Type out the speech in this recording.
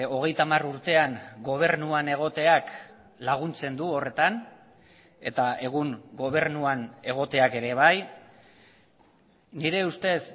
hogeita hamar urtean gobernuan egoteak laguntzen du horretan eta egun gobernuan egoteak ere bai nire ustez